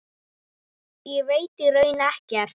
Ég veit í raun ekkert.